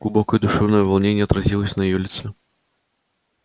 глубокое душевное волнение отразилось на её лице